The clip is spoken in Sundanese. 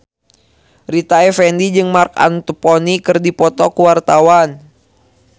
Rita Effendy jeung Marc Anthony keur dipoto ku wartawan